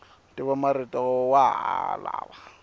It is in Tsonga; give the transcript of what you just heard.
ntivomarito wa ha lava